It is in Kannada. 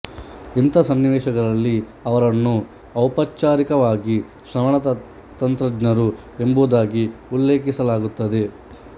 ಇಂಥ ಸನ್ನಿವೇಶಗಳಲ್ಲಿ ಅವರನ್ನು ಔಪಚಾರಿಕವಾಗಿ ಶ್ರವಣ ತಂತ್ರಜ್ಞರು ಎಂಬುದಾಗಿ ಉಲ್ಲೇಖಿಸಲಾಗುತ್ತದೆ